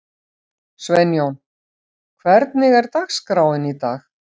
Sveinjón, hvernig er dagskráin í dag?